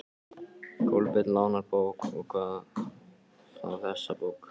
Kolbeinn lánar bók, og hvað þá þessa bók.